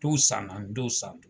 Tuw san na dɔw san na.